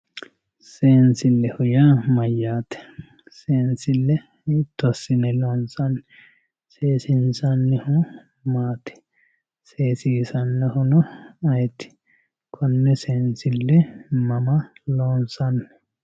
Seensileho yaa mayyaate seensile hiito asine loonsanni seesinsanihu matti seesisanohuno ayti koone seensille mama loonsanni